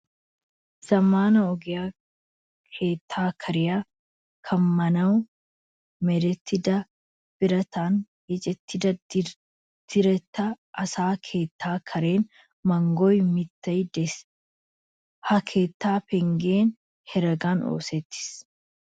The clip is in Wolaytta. Zammaana ogiyan keettaa kaaraa kammanawu merettida birata yeechchan diretta asa keettaa karen mangguwa mittay de'es. Ha keettaa penggee heregan oosettiis.